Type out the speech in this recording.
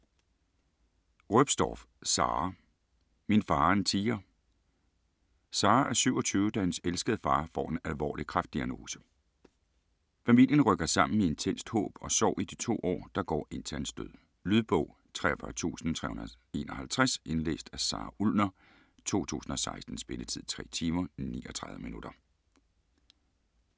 Roepstorff, Sara: Min far er en tiger Sara er 27, da hendes elskede far får en alvorlig kræftdiagnose. Hele familien rykker sammen i intenst håb og sorg i de to år, der går indtil hans død. Lydbog 43351 Indlæst af Sara Ullner, 2016. Spilletid: 3 timer, 39 minutter.